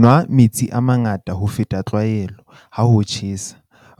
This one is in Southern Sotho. Nwa metsi a mangata ho feta tlwaelo, ha ho tjhesa.